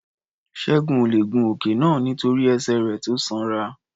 Ṣẹ́gun ò le è gun òkè náà nítorí ẹsẹ̀ rẹ̀ tó sanra.